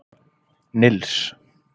Nils